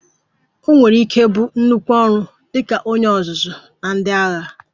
O nwere ike ịbụ nnukwu ọrụ dị ka onye ọzụzụ na ndị agha